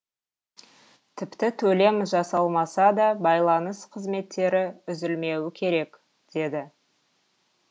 тіпті төлем жасалмаса да байланыс қызметтері үзілмеуі керек деді